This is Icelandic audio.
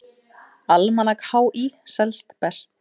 Almanak HÍ selst best